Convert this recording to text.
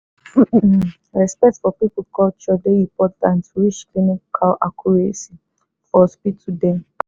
um respect for people culture dey important reach clinical accuracy for hospital dem